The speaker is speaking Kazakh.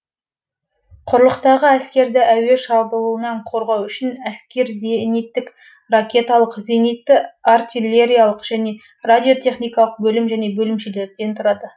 құрлықтағы әскерді әуе шабуылынан қорғау үшін әскер зениттік ракеталық зенитті артиллериялық және радиотехникалық бөлім және бөлімшелерден тұрады